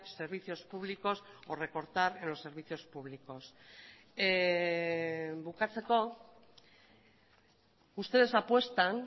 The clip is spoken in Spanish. servicios públicos o recortar en los servicios públicos bukatzeko ustedes apuestan